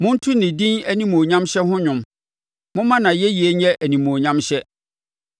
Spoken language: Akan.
Monto ne din animuonyamhyɛ ho dwom; momma nʼayɛyie nyɛ animuonyamhyɛ!